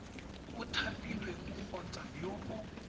o thapilweng kgotsa yo o